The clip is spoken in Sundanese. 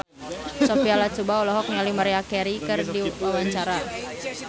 Sophia Latjuba olohok ningali Maria Carey keur diwawancara